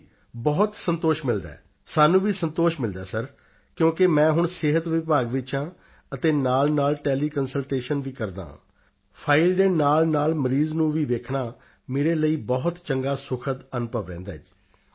ਜੀ ਬਹੁਤ ਸੰਤੋਸ਼ ਮਿਲਦਾ ਹੈ ਸਾਨੂੰ ਵੀ ਸੰਤੋਸ਼ ਮਿਲਦਾ ਹੈ ਸਰ ਕਿਉਂਕਿ ਮੈਂ ਹੁਣ ਸਿਹਤ ਵਿਭਾਗ ਵਿੱਚ ਹਾਂ ਅਤੇ ਨਾਲਨਾਲ ਟੈਲੀਕੰਸਲਟੇਸ਼ਨ ਵੀ ਕਰਦਾ ਹਾਂ ਫਾਈਲ ਦੇ ਨਾਲਨਾਲ ਮਰੀਜ਼ ਨੂੰ ਵੀ ਵੇਖਣਾ ਮੇਰੇ ਲਈ ਬਹੁਤ ਚੰਗਾ ਸੁਖਦ ਅਨੁਭਵ ਰਹਿੰਦਾ ਹੈ